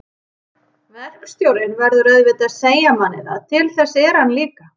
Verkstjórinn verður auðvitað að segja manni það. til þess er hann líka.